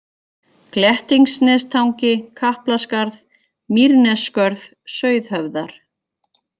Glettingsnestangi, Kaplaskarð, Mýrnesskörð, Sauðhöfðar